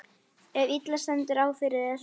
ef illa stendur á fyrir þér.